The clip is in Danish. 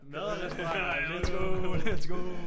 Mad og restauranter let's go let's go